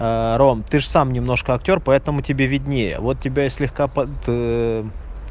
ром ты же сам немножко актёр поэтому тебе виднее вот тебя слегка под